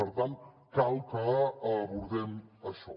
per tant cal que abordem això